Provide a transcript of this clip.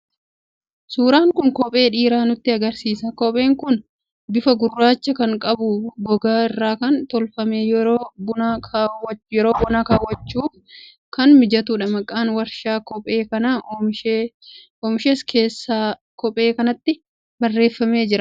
Suuraan kun kophee dhiiraa nutti agarsiisa. Kopheen kun bifa gurraacha kan qabu, gogaa irraa kan tolfamee fi yeroo bonaa kaawwachuuf kan mijatudha. Maqaan warshaa kophee kana oomishees keessa kophee kanaatti barreeffamee jira.